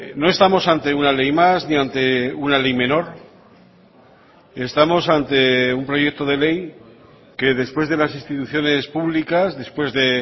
no estamos ante una ley más ni ante una ley menor estamos ante un proyecto de ley que después de las instituciones públicas después de